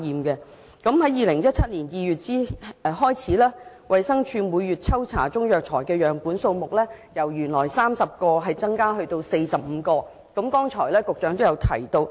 局長剛才亦提到，自2017年2月起，衞生署每月抽查的中藥材樣本數目由原來的30個增至45個。